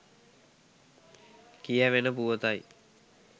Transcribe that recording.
කියැවෙන පුවතයි.